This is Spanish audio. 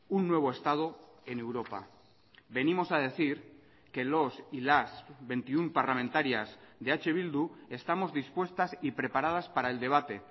un nuevo estado en europa venimos a decir que los y las veintiuno parlamentarias de eh bildu estamos dispuestas y preparadas para el debate